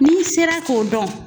N'i sera k'o dɔn